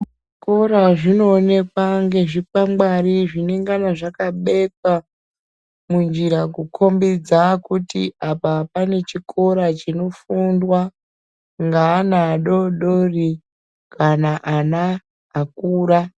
Zvikora zvinoonekwa ngezvikwangwari zvinengana zvakabekwa munjira kukombedza kuti apa pane chikora chinofundwa ngaana adodori kana ana akura.